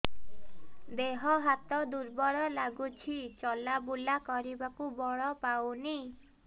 ଦେହ ହାତ ଦୁର୍ବଳ ଲାଗୁଛି ଚଲାବୁଲା କରିବାକୁ ବଳ ପାଉନି